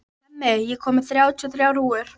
Hemmi, ég kom með þrjátíu og þrjár húfur!